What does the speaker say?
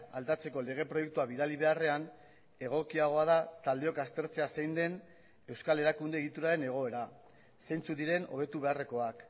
aldatzeko lege proiektua bidali beharrean egokiagoa da taldeok aztertzea zein den euskal erakunde egituraren egoera zeintzuk diren hobetu beharrekoak